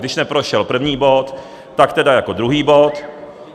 Když neprošel první bod, tak tedy jako druhý bod.